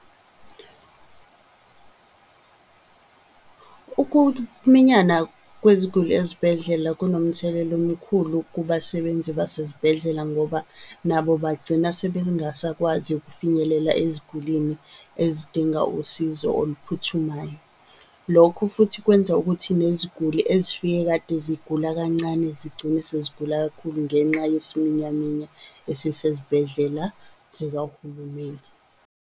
Ukuminyana kweziguli ezibhedlela kunomthelela omkhulu kubasebenzi basezibhedlela, ngoba nabo bagcina sebengasakwazi ukufinyelela ezigulini ezidinga usizo oluphuthumayo. Lokho futhi kwenza ukuthi neziguli ezifike kade zigula kancane, zigcine sezigula kakhulu ngenxa yesiminyaminya esisezibhedlela zikahulumeni.